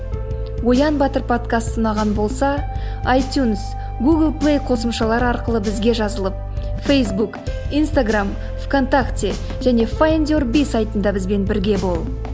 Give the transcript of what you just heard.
оян батыр подкасты ұнаған болса айтюнс гугл плей қосымшалары арқылы бізге жазылып фейсбук инстаграмм в контакте және файндюрби сайтында бізбен бірге бол